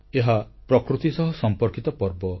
ଏହା ପ୍ରକୃତି ସହ ସମ୍ପର୍କିତ ପର୍ବ